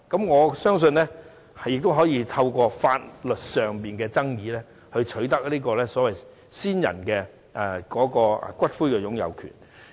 我相信可透過提出法律上的爭議取得先人的骨灰擁有權。